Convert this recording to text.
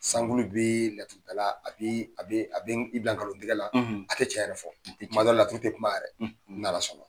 Sankulu bi laturudala a bi bila nkalontigƐla a tɛ tiɲɛ yɛrɛ fɔ kuma dɔ la lauru tɛ kuma yɛrɛ n'Ala sɔnna.